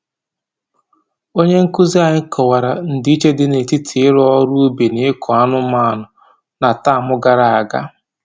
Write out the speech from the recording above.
Onye nkụzi anyị kọwara ndị iche dị n'etiti ịrụ ọrụ ubi na ịkụ anụmanụ na tamụ gara aga